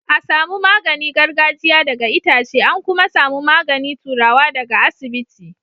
a samu magani gargajia daga Itace an ku ma samu magani turawa da ga iasibiti